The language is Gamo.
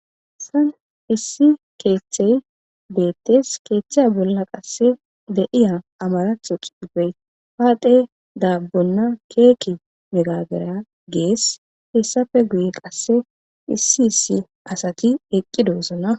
Issi kethe betes kethay bolla de'iza amaratho xufey paxe dabona keki gabera ges hesappe guye qaseka issi issi asati eqidosona